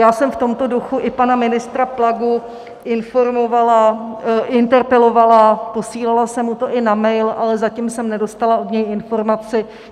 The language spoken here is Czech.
Já jsem v tomto duchu i pana ministra Plagu informovala, interpelovala, posílala jsem mu to i na mail, ale zatím jsem nedostala od něj informaci.